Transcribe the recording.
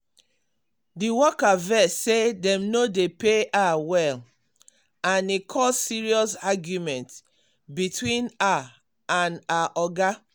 the worker vex say dem no dey pay her well and e cause serious argument between her and her oga.